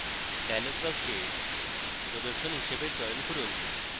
dialog box প্রদর্শন হিসাবে চয়ন করুন